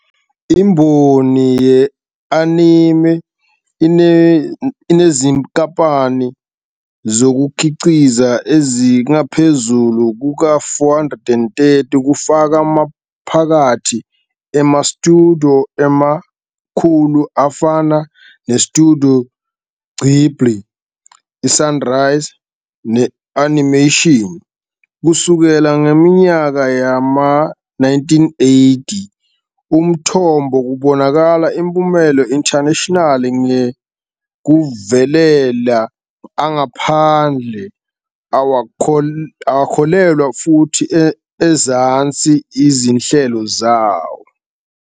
Imboni ye-anime inezinkampani zokukhiqiza ezingaphezu kuka-430, kufaka phakathi ama-studio amakhulu afana ne-Studio Ghibli, i-Sunrise, ne-Toei Animation. Kusukela ngeminyaka yama-1980, umthombo kubonakala impumelelo international nge ukuvelela angaphandle awakholelwa futhi ezansi izinhlelo.